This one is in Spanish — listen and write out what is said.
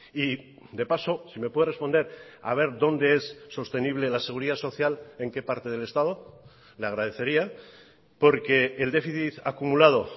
y de paso si me puede responder a ver dónde es sostenible la seguridad social en qué parte del estado le agradecería porque el déficit acumulado